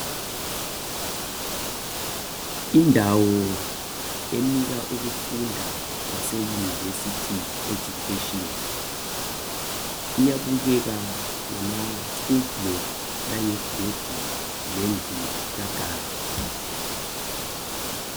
Indawo enika ukufunda kwaseyunivesithi education, iyabukeka ngamaschool block. Langegedi lendlu kaguard.